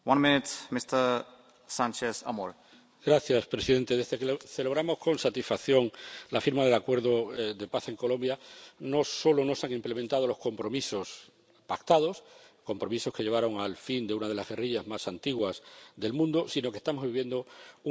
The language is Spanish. Señor presidente, desde que celebramos, con satisfacción, la firma del acuerdo de paz en Colombia, no solo no se han implementado los compromisos pactados —compromisos que llevaron al fin de una de las guerrillas más antiguas del mundo—, sino que estamos viviendo un grave paso atrás en ese desarrollo.